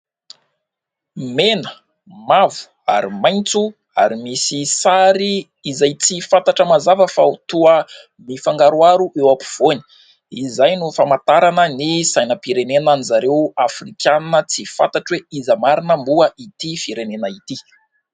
Mena, mavo ary maitso ; ary misy sary izay tsy fantatra mazava fa toa mifangaroaro eo ampovoany. Izay no famantarana ny sainam-pirenena an'izareo Afrikana tsy fantatro hoe : iza marina moa ity firenena ity ?